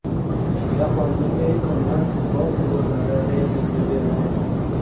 Jahonning eng qimmat futbol klublari reytingi e’lon qilindi.